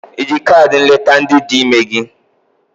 Iji kaadị nleta ndị dị ime gị?